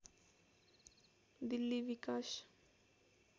दिल्ली विकास